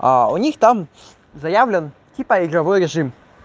а у них там заявлен типа игровой режим